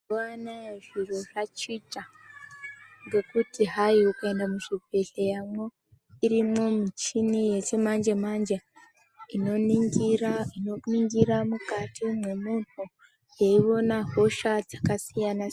Mazuwa anaaya zviro zvachicha ngekuti hayi ukaende muzvibhedhleya mwo irimwo michina yechimanjemanje inoningira inoningira mukati mwemunhu yeyiwona hosha dzakasiyana siyana.